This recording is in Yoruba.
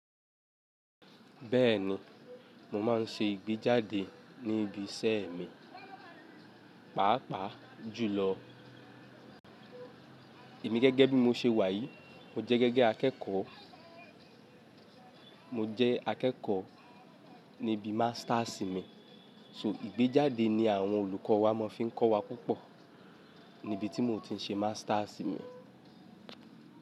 Bẹ́ẹ̀ni, mo máa ń ṣe ìgbéjáde ní ibi iṣẹ́ mi, pàápàá jùlọ. Emi gẹ́gẹ́ bí mo ṣe wà yìí, mo jẹ́ gẹ́gẹ́ akẹ́kọ̀ọ́, mo jẹ́ akẹ́kọ̀ọ́ níbi Masters mi. So ìgbéjáde ni àwọn olùkọ́ wa máa fi ń kọ́ wa púpọ̀. Níbi tí mo ti ṣe Masters mi.